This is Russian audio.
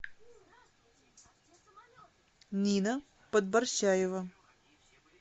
нина подборщаева